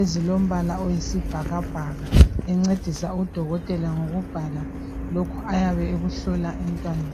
ezilombala oyisibhakabhaka encedisa udokotela ngokubhala lokhu ayabe ekuhlola emntwaneni.